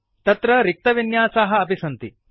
तत्र रिक्तविन्यासाः अपि सन्ति